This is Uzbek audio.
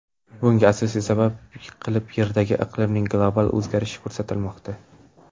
Bunga asosiy sabab qilib Yerdagi iqlimning global o‘zgarishi ko‘rsatilmoqda.